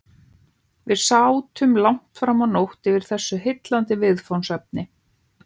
Við sátum langt framá nótt yfir þessu heillandi viðfangsefni.